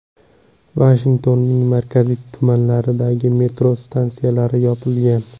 Vashingtonning markaziy tumanlaridagi metro stansiyalari yopilgan.